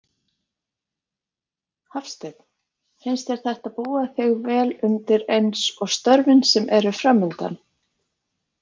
Hafsteinn: Finnst þér þetta búa þig vel undir eins og störfin sem eru framundan?